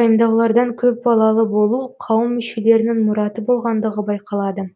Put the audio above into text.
пайымдаулардан көп балалы болу қауым мүшелерінің мұраты болғандығы байқалады